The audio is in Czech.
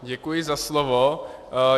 Děkuji za slovo.